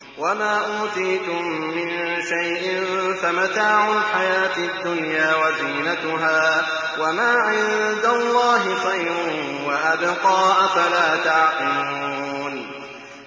وَمَا أُوتِيتُم مِّن شَيْءٍ فَمَتَاعُ الْحَيَاةِ الدُّنْيَا وَزِينَتُهَا ۚ وَمَا عِندَ اللَّهِ خَيْرٌ وَأَبْقَىٰ ۚ أَفَلَا تَعْقِلُونَ